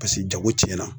Paseke jago cɛnna